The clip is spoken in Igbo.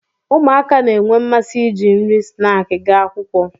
ụmụaka na-enwe mmasị iji nri snaakị ga akwụkwọ